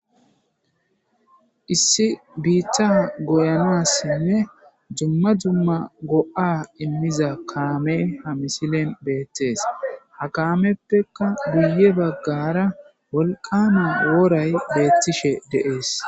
issi biitta goyanassinne jumma jumma go7a immiza kaame ha misilen beettees ha kaameppeka guye baggara wolqana wooray beettishe deees